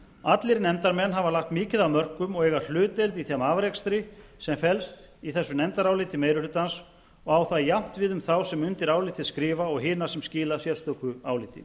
allir nefndarmenn hafa lagt mikið af mörkum og eiga hlutdeild í þeim afrakstri sem felst í þessu nefndaráliti meiri hlutans og á það jafnt við um þá sem undir álitið skrifa og hina sem skila sérstöku áliti